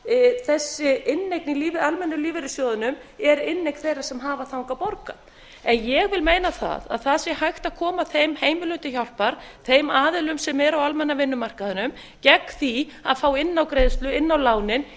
að þessi inneign í almennu lífeyrissjóðunum er inneign þeirra sem hafa þangað borgað ég vil meina það að það sé hægt að koma þeim heimilum mikil hjálpar þeim aðilum sem eru á almenna vinnumarkaðnum gegn því að fá innágreiðslu inn á lánin